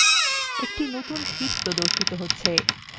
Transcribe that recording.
এই নতুন sheet প্রর্দশিত হবে